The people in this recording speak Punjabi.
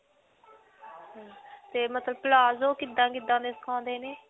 ਤੇ ਮਤਲਬ palazzo ਕਿੱਦਾਂ-ਕਿੱਦਾਂ ਦੇ ਸਿਖਾਉਂਦੇ ਨੇ?